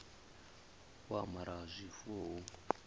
u amara ha zwifuwo hu